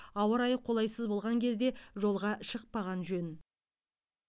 ауа райы қолайсыз болған кезде жолға шықпаған жөн